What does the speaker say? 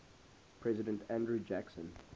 president andrew jackson